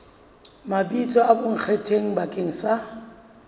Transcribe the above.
mabitso a bonkgetheng bakeng sa